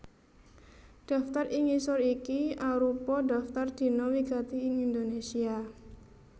Daftar ing ngisor iki arupa daftar dina wigati ing Indonésia